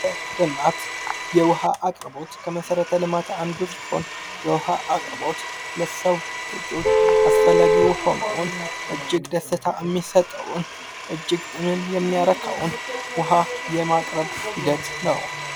ልማት የውሃ አቅርቦት፡- የውሃ አቅርቦት ከመሰረተ ልማቶች አንዱ ሲሆን ፤ የውሃ አቅርቦት ለሰዎች አስፈላጊ የሆነውን፥ እጅግ ደስታ የሚሰጠውን፥ ጥምን የሚያረካውን ውሃ የማቅረብ ሂደት ነው።